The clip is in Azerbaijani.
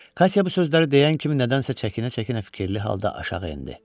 Katya bu sözləri deyən kimi nədənsə çəkinə-çəkinə fikirli halda aşağı endi.